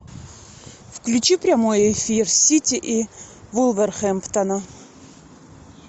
включи прямой эфир сити и вулверхэмптона